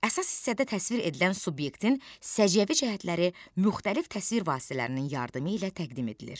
Əsas hissədə təsvir edilən subyektin səciyyəvi cəhətləri müxtəlif təsvir vasitələrinin yardımı ilə təqdim edilir.